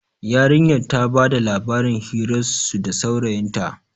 yarinyar ta bada labarin hirarsu da saurayinta